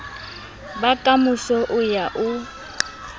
ba kamoso o ya o